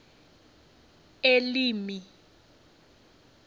elimi